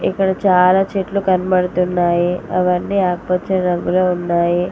ఇక్కడ చాలా చెట్లు కనబడుతున్నాయి అవన్నీ ఆకుపచ్చ రంగు లో ఉన్నాయి.